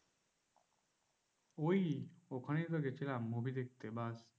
ওই ওখানেই তো গেছিলাম movie দেখতে ব্যাস।